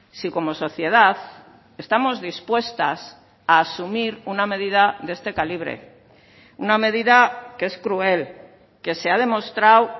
si como sociedad estamos dispuestas a asumir una medida de este calibre una medida que es cruel que se ha demostrado